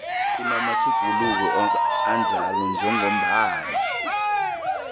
namatjhuguluko anjalo njengombana